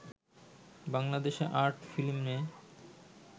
বাংলাদেশে আর্ট ফিল্মে